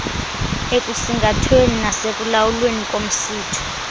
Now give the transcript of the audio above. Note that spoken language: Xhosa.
ekusingathweni nasekulawulweni komsitho